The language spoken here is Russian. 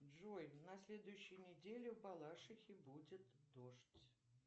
джой на следующей неделе в балашихе будет дождь